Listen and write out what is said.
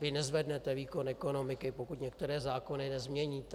Vy nezvednete výkon ekonomiky, pokud některé zákony nezměníte.